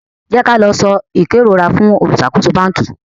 jẹ ki a lọ so ikerora fún oluṣakoso banki